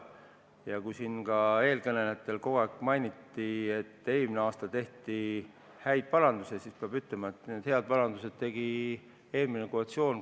Ja kui siin eelkõnelejad kogu aeg mainisid, et eelmine aasta tehti häid parandusi, siis pean ütlema, et need head parandused tegi eelmine koalitsioon.